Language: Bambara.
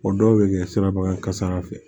O dɔw bɛ kɛ siraba kan kasara fɛ